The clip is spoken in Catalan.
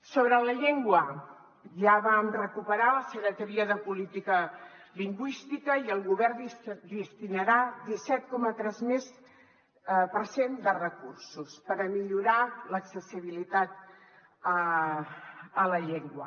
sobre la llengua ja vam recuperar la secretaria de política lingüística i el govern destinarà disset coma tres més per cent de recursos per millorar l’accessibilitat a la llengua